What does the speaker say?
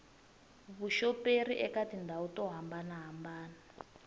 vuxoperi eka tindhawu to hambanahambana